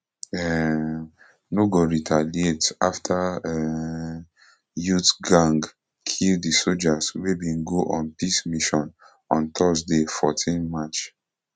um no go retaliate afta um youth gang kill di sojas wey bin go on peace mission on thursday fourteen march